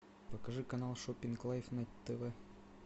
покажи канал шопинг лайф на тв